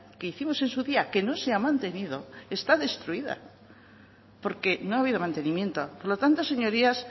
que hicimos en su día que no se ha mantenido está destruida porque no ha habido mantenimiento por lo tanto señorías